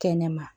Kɛnɛma